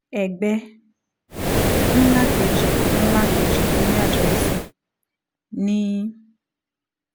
ẹbẹ ńlá kejì ńlá kejì tó ní àdírẹ́sì ni